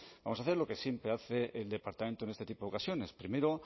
vamos a hacer lo que siempre hace el departamento en este tipo ocasiones primero